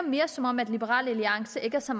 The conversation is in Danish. som om liberal alliance ikke er så